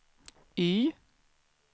Y